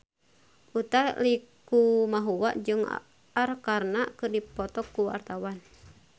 Utha Likumahua jeung Arkarna keur dipoto ku wartawan